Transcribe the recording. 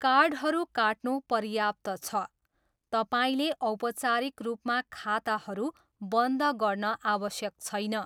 कार्डहरू काट्नु पर्याप्त छ, तपाईँले औपचारिक रूपमा खाताहरू बन्द गर्न आवश्यक छैन।